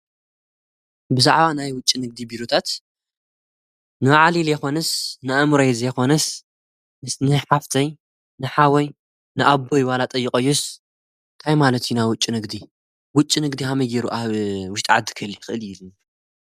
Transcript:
ብዛዕባ ናይ ውጭ ንግዲ ቢሮታት ንኣዓሊል የኾንስ ንኣምረይ ዘይኾንስ ምስነይ ሓፍተይ ንሓወይ ንኣቦ ዋላ ጠይቖዩስ ታይማለት ኢና ውጭ ንግዲ ውጭ ንግዲ ሃመይ ገይሩ ኣብ ውሽጢ ዓዲ ክህሊ ይኽእል ኢሉኒ።